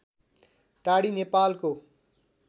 टाँडी नेपालको